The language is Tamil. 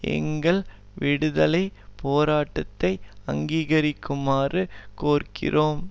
எங்கள் விடுதலை போராட்டத்தை அங்கீகரிக்குமாறு கோருகிறோம்